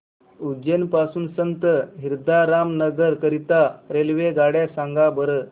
उज्जैन पासून संत हिरदाराम नगर करीता रेल्वेगाड्या सांगा बरं